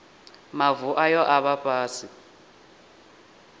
mavu ayo a vha fhasi